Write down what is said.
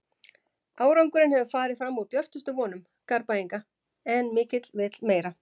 Árangurinn hefur farið fram úr björtustu vonum Garðbæinga en mikill vill meira.